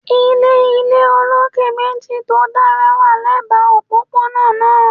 Ile ile oloke meji to dara wa lẹba opopona naa